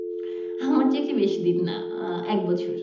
আমার চাকরি বেশি দিন না আহ এক বছর।